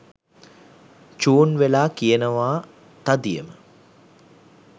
චූන් වෙලා කියනවා තදියම